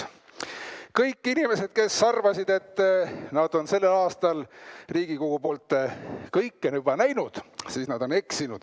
Kõik inimesed, kes arvavad, et nad on sellel aastal Riigikogu poolt juba kõike näinud –nad eksivad!